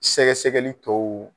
Sɛgɛsɛgɛli tɔw